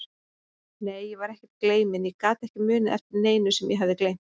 Nei, ég var ekkert gleyminn, ég gat ekki munað eftir neinu sem ég hafði gleymt.